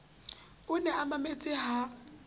o ne a mametse ha